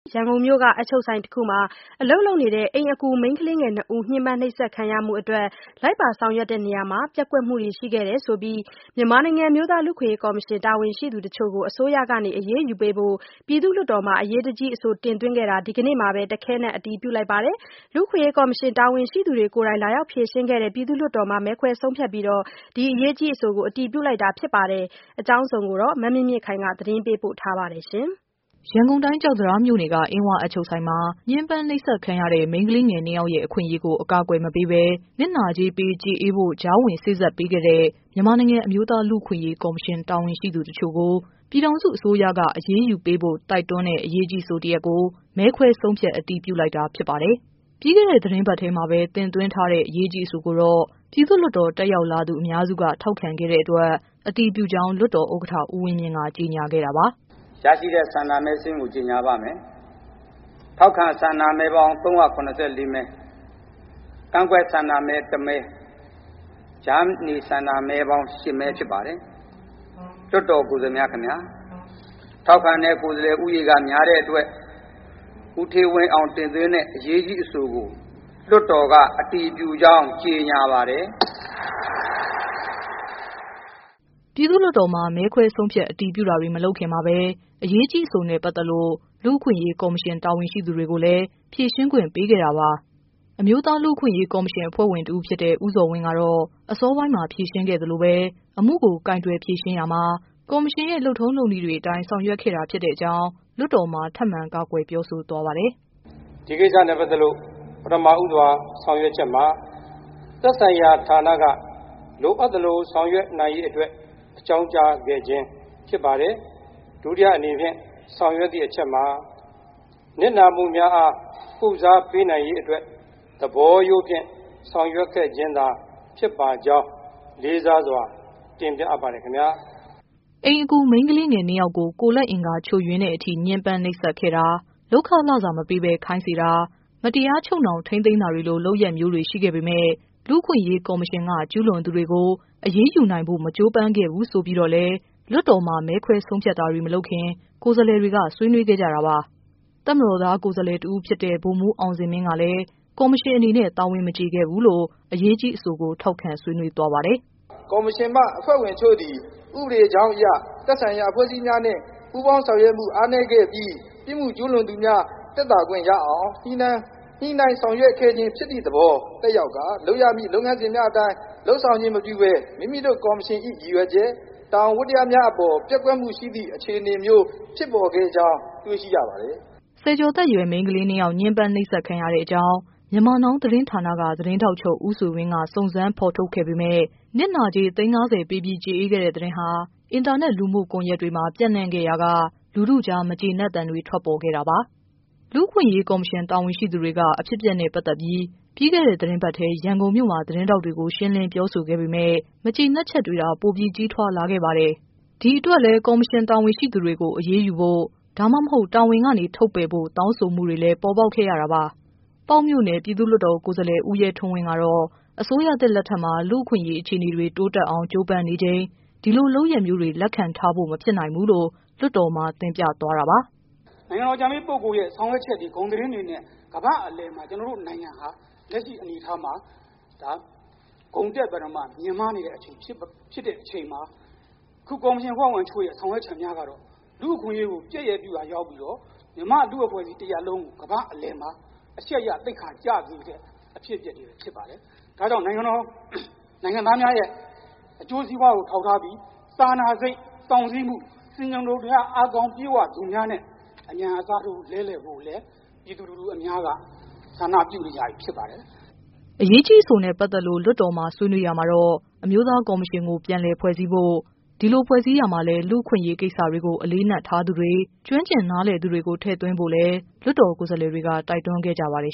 ရန်ကုန်မြို့က အပ်ချုပ်ဆိုင်တခုမှာ အလုပ်လုပ်နေတဲ့ အိမ်အကူမိန်းကလေးငယ် ၂ ဦး ညှင်းပမ်းနှိပ်စက်ခံရမှုအတွက် လိုက်ပါ ဆောင်ရွက်ရာမှာ ပျက်ကွက်မှုတွေရှိခဲ့တယ်ဆိုပြီး မြန်မာနိုင်ငံ အမျိုးသား လူ့အခွင့်အရေး ကော်မရှင် တာဝန်ရှိသူတချို့ကို အစိုးရက အရေးယူပေးဖို့ ပြည်သူ့လွှတ်တော်မှာ အရေးကြီး အဆိုတင်သွင်းခဲ့တာကို ဒီကနေ့မှာပဲ တခဲနက် အတည်ပြု လိုက်ပါတယ်။ လူ့အခွင့်အရေးကော်မရှင် တာဝန်ရှိသူတွေကိုယ်တိုင် လာရောက်ဖြေရှင်းခဲ့တဲ့ ပြည်သူ့လွှတ်တော်မှာ မဲခွဲဆုံးဖြတ်ပြီး အရေးကြီးအဆိုကို အတည်ပြုလိုက်တာပါ။ အကြောင်းစုံကိုတော့ ဗွီအိုအေမြန်မာပိုင်း သတင်းထောက် မမြင့်မြင့်ခိုင်က ပြောပြပေးမှာ ဖြစ်ပါတယ်။ ရန်ကုန်တိုင်း ကျောက်တံတားမြို့နယ်က အင်းဝအပ်ချုပ်ဆိုင်မှာ ညှင်းပမ်းနှိပ်စက်ခံခဲ့ရတဲ့ မိန်းကလေးငယ် ၂ ယောက်ရဲ့ အခွင့်အရေးကို အကာအကွယ်မပေးဘဲ၊ နစ်နာကြေးပေး ကျေအေးဖို့ ကြားဝင်စေ့စပ်ပေးခဲ့တဲ့ မြန်မာနိုင်ငံ အမျိုးသား လူ့အခွင့်အရေး ကော်မရှင် တာဝန်ရှိသူတချို့ကို ပြည်ထောင်စု အစိုးရက အရေးယူဖို့ တိုက်တွန်းတဲ့ အရေးကြီးအဆိုတရပ်ကို မဲခွဲဆုံးဖြတ် အတည်ပြုလိုက်တာ ဖြစ်ပါတယ်။ ပြီးခဲ့တဲ့ သီတင်းပတ်ထဲမှာပဲ တင်သွင်းထားတဲ့ အရေးကြီး အဆိုကိုတော့ ပြည်သူ့လွှတ်တော် တက်ရောက်လာသူ အများစုက ထောက်ခံခဲ့တဲ့အတွက် အတည်ပြုကြောင်း လွှတ်တော်ဥက္ကဋ္ဌ ဦးဝင်းမြင့် ကကြေညာခဲ့တာပါ။ “ရရှိတဲ့ဆန္ဒမဲစာရင်းကိုကြေညာပါ့မယ်။ ထောက်ခံဆန္ဒမဲပေါင်း ၃၇၄ မဲ၊ ကန့်ကွက်ဆန္ဒမဲ ၁ မဲ၊ ကြားနေဆန္ဒမဲပေါင်း ၈ မဲဖြစ်ပါတယ်။လွတ်တော်ကိုယ်စားလှယ်များခင်ဗျ ထောက်ခံတဲ့ကိုယ်စားလှယ် ဦးရေက များတဲ့အတွက် ဦးဌေးဝင်းအောင်တင်သွင်းတဲ့အရေးကြီးအဆိုကို လွှတ်တော်ကအတည်ပြုကြောင်း ကြေညာပါတယ်။” ပြည်သ့ူလွှတ်တော်မှာ မဲခွဲဆုံးဖြတ် အတည်ပြုတာတွေ မလုပ်ခင်မှာပဲ အရေးကြီးအဆိုနဲ့ ပတ်သက်လို့ လူ့အခွင့်အရေး ကော်မရှင် တာဝန်ရှိသူတွေကိုလည်း ဖြေရှင်းခွင့် ပေးခဲ့တာပါ။ အမျိုးသား လူ့အခွင့်အရေးကော်မရှင် အဖွဲ့ဝင်တဦးဖြစ်တဲ့ ဦးဇော်ဝင်း ကတော့ အစောပိုင်းမှာ ဖြေရှင်းခဲ့သလိုပဲ၊ အမှုကိုကိုင်တွယ်ဖြေရှင်းရာမှာ ကော်မရှင်ရဲ့ လုပ်ထုံးလုပ်နည်းတွေအတိုင်း ဆောင်ရွက်ခဲ့တာသာ ဖြစ်တဲ့အကြောင်း လွှတ်တော်မှာ ထပ်မံကာကွယ်ပြောဆို သွားပါတယ်။ “ဒီကိစ္စနဲ့ပတ်သက်လို့ ပထမဦးစွာဆောင်ရွက်ချက်မှာ သက်ဆိုင်ရာဌာနက လိုအပ်သလိုဆောင်ရွက်နိုင်ရေးအတွက် အကြောင်းကြားခဲ့ခြင်းဖြစ်ပါတယ်။ ဒုတိယအနေနှင့်ဆောင်ရွက်သည့်အချက်မှာ နစ်နာမှုများအား ကုစားပေးနိုင်ရေးအတွက် သဘောရိုးဖြင့်ဆောင်ရွက်ခဲ့ခြင်းသာဖြစ်ပါကြောင်း လေးစားစွာတင်ပြအပ်ပါတယ်ခင်ဗျာ။” အိမ်အကူ မိန်းကလေးငယ် ၂ ယောက်ကို ကိုယ်လက်အင်္ဂါချို့တဲ့အထိ ညှင်းပမ်းနှိပ်စက်ခဲ့တာ၊ လုပ်ခလစာ မပေးဘဲ ခိုင်းစေတာ၊ မတရားချုပ်နှောင် ထိန်းသိမ်းထားတာလို လုပ်ရပ်မျိုးတွေ ရှိခဲ့ပေမဲ့ လူ့အခွင့်အရေး ကော်မရှင်က၊ ကျုးလွန်သူတွေကို အရေးယူနိုင်ဖို့ မကြိုးပမ်းခဲ့ဘူး ဆိုပြီးတော့လည်း လွှတ်တော်မှာ မဲခွဲဆုံးဖြတ်တာတွေ မလုပ်ခင် ကိုယ်စားလှယ်တွေ ဆွေးနွေးခဲ့ကြတာပါ။ တပ်မတော်သား ကိုယ်စားလှယ် တဦးဖြစ်တဲ့ ဗိုလ်မှူး အောင်ဇင်မင်း ကလည်း ကော်မရှင်အနေနဲ့ တာဝန်မကျေခဲ့ဘူးလို့ အရေးကြီး အဆိုကို ထောက်ခံဆွေးနွေးသွားပါတယ်။ “ကော်မရှင်မှ အဖွဲ့ဝင်တချို့သည် ဥပဒေကြောင်းအရ သက်ဆိုင်ရာအဖွဲ့အစည်းများနှင့် ပူးပေါင်းဆောင်ရွက်မှုအားနည်းခဲ့ပြီး ပြစ်မှုကျူးလွန်သူများသက်သာခွင့်ရအောင် ညှိနှိုင်းဆောင်ရွက်ခဲ့ခြင်းဖြစ်သည့်သဘောသက်ရောက်ကာ လုပ်ရမယ့် လုပ်ငန်းစဉ်များအတိုင်း လုပ်ဆောင်ခြင်းမပြုပဲ မိမိတို့ကော်မရှင်၏ ရည်ရွယ်ချက်၊ တာဝန်ဝတ္တရားများအပေါ် ပျက်ကွက်မှုရှိသည့်အခြေအနေမျိုး ဖြစ်ပေါ်ခဲ့ကြောင်းတွေ့ရှိရပါတယ်။” ဆယ်ကျော်သက်ရွယ် မိန်းကလေးငယ် ၂ ယောက် ညှင်းပမ်းနှိပ်စက်ခံရတဲ့အကြောင်း Myanmar Now သတင်းဌာနက သတင်းထောက်ချုပ် ဦးဆွေဝင်း ကစုံစမ်းဖော်ထုတ်ခဲ့ပေမဲ့ နစ်နာကြေး သိန်း ၅၀ ပေး ကျေအေးခဲ့တဲ့ သတင်းဟာ အင်တာနက် လူမှုကွန်ယက်တွေမှာ ပျံ့နှံ့ခဲ့ရာက လူထုကြား မကျေနပ်သံတွေ ထွက်ပေါ်ခဲ့တာပါ။ လူ့အခွင့်အရေး ကော်မရှင် တာဝန်ရှိသူတွေက အဖြစ်အပျက်နဲ့ ပတ်သက်ပြီး ပြီးခဲ့တဲ့ သီတင်းပတ်ထဲ ရန်ကုန်မြို့မှာ သတင်းထောက်တွေကို ရှင်းလင်းပြောဆိုခဲ့ပေမဲ့လည်း မကျေနပ်ချက်တွေသာ ပိုမိုကြီးထွားလာခဲ့ပါတယ်။ ဒီအတွက်လည်း ကော်မရှင် တာဝန်ရှိသူတွေကို အရေးယူဖို့ ဒါမှမဟုတ် တာဝန်ကနေ ထုတ်ပယ်ဖို့ တောင်းဆိုမှုတွေလည်း ပေါ်ပေါက်ခဲ့ရတာပါ။ ပေါက်မြို့နယ် ပြည်သူ့လွှတ်တော် ကိုယ်စားလှယ် ဦးရဲထွန်းဝင်း ကတော့ အစိုးရသစ်လက်ထက်မှာ လူ့အခွင့်အရေး အခြေအနေတွေ တိုးတက်အောင် ကြိုးပမ်းနေချိန် ဒီလိုလုပ်ရပ်မျိုးတွေကို လက်ခံထားလို့ မဖြစ်နိုင်ဘူးလို့ လွှတ်တော်မှာ တင်ပြသွားပါတယ်။ “နိုင်ငံတော်အကြံပေးပုဂ္ဂိုလ် ရဲ့ဆောင်ရွက်ချက် ဂုဏ်သတင်းတွေနဲ့ ကမ္ဘာ့အလယ်မှာ ကျနော်တို့နိုင်ငံလက်ရှိအနေအထားဟာ ဂုဏ်တက်ပြီးတော့ မြင့်မားနေတဲ့အခြေအနေဖြစ်တဲ့အချိန်မှာ အခုကော်မရှင်အဖွဲ့ဝင်တချို့ ဆောင်ရွက်ချက်များကတော့ လူ့အခွင့်အရေးကို ပြက်ရယ် ပြုရာရောက်ပြီးတော့ မြန်မာ့လူ့အဖွဲ့အစည်းတရပ်လုံးကို ကမ္ဘာ့အလယ်မှာ အရှက်ရ၊ သိက္ခာကျစေတဲ့ အဖြစ်အပျက်တွေပဲဖြစ်ပါတယ်။ ဒါကြောင့်နိုင်ငံတော်၊ နိုင်ငံသားများရဲ့ အကျိုးစီးပွားကိုထောက်ထားပြီး စာနာစိတ်၊ စောင့်စည်းမှု ၊ ဆင်ခြင်တုံတရားအားကောင်းပြည့်ဝသူများနဲ့ အမြန်အစားထိုးလဲလည်ဖို့ကိုလည်း ပြည်သူအများက ဆန္ဒပြုနေကြပြီဖြစ်ပါတယ်။” အရေးကြီးအဆိုနဲ့ ပတ်သက်လို့ လွှတ်တော်မှာ ဆွေးနွေးရာမှာတော့ အမျိုးသား ကော်မရှင်ကို ပြန်လည်ဖွဲ့စည်းဖို့၊ ဒီလိုဖွဲ့စည်းရာမှာလည်း လူ့အခွင့်အရေး ကိစ္စတွေကို အလေးအနက်ထားသူတွေ၊ ကျွမ်းကျင်နားလည်သူတွေကို ထည့်သွင်းဖို့လည်း လွှတ်တော်ကိုယ်စားလှယ်တွေက တိုက်တွန်းခဲ့ကြပါတယ်